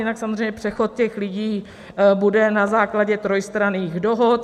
Jinak samozřejmě přechod těch lidí bude na základě trojstranných dohod.